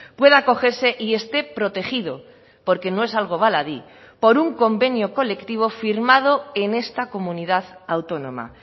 pueda acogerse y esté protegido porque no es algo baladí por un convenio colectivo firmado en esta comunidad autónoma